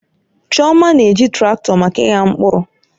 Chioma na-eji traktọ maka ịgha mkpụrụ.